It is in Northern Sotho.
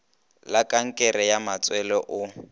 la kankere ya matswele o